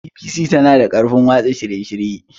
BBC tana da ƙarfin watsa shirye-shirye.